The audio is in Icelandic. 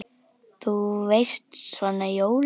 Þú veist. svona jóla.